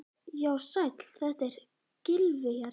Já, sæll, þetta er Gylfi hérna.